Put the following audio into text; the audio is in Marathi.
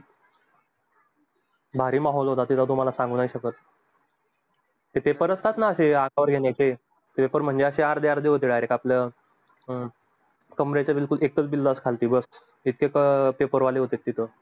भारी माहोल होता तिला तुम्हाला सांगू शकत ते paper असतात न? असे हातावर घेण्याचे paper म्हणजे अर्धी अर्धी direct आपल्या आपलं paper वाले होते तिथे.